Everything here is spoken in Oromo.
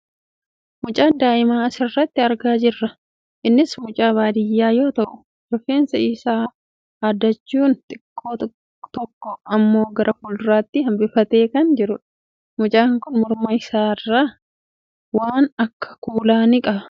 Mucaa daa'ima asirratti argaa jirra. Innis mucaa baadiyyaa yoo ta'u, rifeensa isaa haaddachuun xiqqoo tokko ammoo gara fuulduraatti hambifatee kan jirudha. Mucaan kun morma isaa irraa waan akka kuulaa ni qaba.